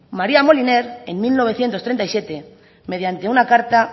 maría moliner en mil novecientos treinta y siete mediante una carta